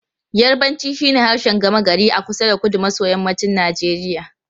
Yarbanci shine harshen gama gari a kusa da kudu maso yammacin Najeriya.